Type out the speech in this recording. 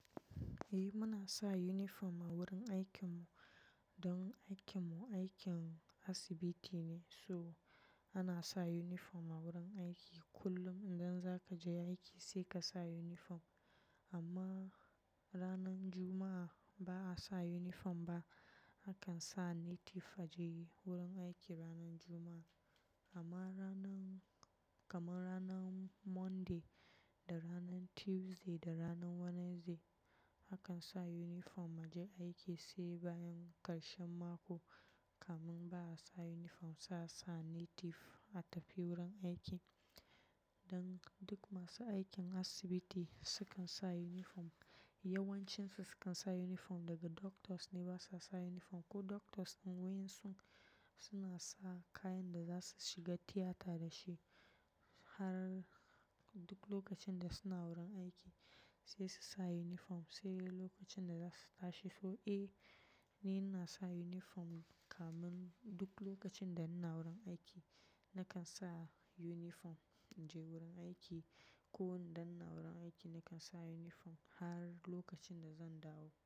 Eh muna sa uniform a wurin aikin mu, don aikin mu aikin asibiti ne so ana sa uniform a wurin aiki kullum idan zaka je aiki sai ka sa uniform. Amma ranan Juma'a ba'a sa uniform ba akan sa native a je wurin aiki ranan Juma'a. Amma ranan kaman ranan Monday da ranan Tuesday da ranan Wednesday akan sa uniform a je aiki sai bayan karshen mako kamin ba'a sa uniform sai a sa native a tafi wurin aiki. Dan duk masu aikin asibiti sukan sa uniform yawancin su sukan sa uniform daga doctors ne basa sa uniform ko doctors din wayan su suna sa kayan da zasu shiga theater dashi har duk lokacin da suna wurin aiki sai su sa uniform sai lokacin da zasu tashi so eh ni ina sa uniform kaman duk lokacin da ina wurin aiki nakan sa uniform in je wurin aiki ko idan ina wurin aiki nakan sa uniform har lokacin da zan dawo.